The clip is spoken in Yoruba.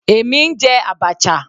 Èmi ń jẹ abacha.